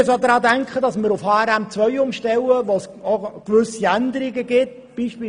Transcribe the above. Wir müssen auch daran denken, dass wir auf HRM2 umstellen, was auch gewisse Änderungen zur Folge haben wird.